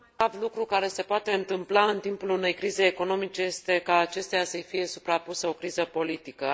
Cel mai grav lucru care se poate întâmpla în timpul unei crize economice este ca acesteia să i fie suprapusă o criză politică.